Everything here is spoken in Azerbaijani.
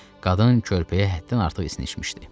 Qadın körpəyə həddən artıq isinişmişdi.